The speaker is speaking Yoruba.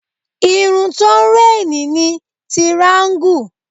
Irun tó ń réènì ni tiraańgù